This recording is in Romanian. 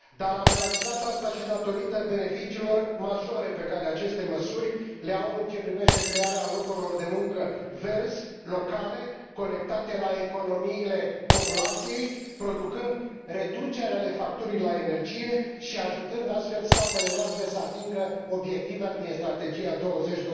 Am realizat acest lucru și datorită beneficiilor majore pe care aceste măsuri le au în ceea ce privește crearea locurilor de muncă verzi, locale, conectate la economiile populației, producând reduceri ale facturii la energie și ajutând astfel statele noastre să atingă obiectivele din Strategia 20